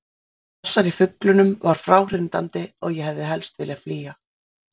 Þessi hasar í fuglunum var fráhrindandi og ég hefði helst viljað flýja.